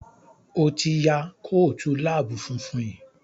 O tí ya Kóòtù lab funfun yí.